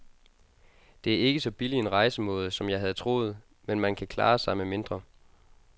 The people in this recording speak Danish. Det er ikke så billig en rejsemåde, som jeg havde troet, men man kan klare sig med mindre.